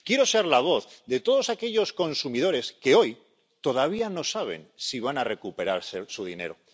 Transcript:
Quiero ser la voz de todos aquellos consumidores que hoy todavía no saben si van a recuperar su dinero.